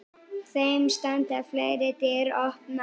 Þeim standi fleiri dyr opnar.